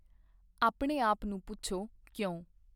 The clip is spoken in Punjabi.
ਆਪਣੇ ਆਪ ਨੂੰ ਪੁੱਛੋ, 'ਕਿਉਂ?